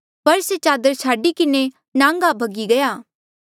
पर से चादर छाडी किन्हें नांगा भगी गया